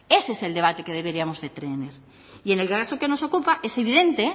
ese es el debate que deberíamos de tener y en el caso que nos ocupa es evidente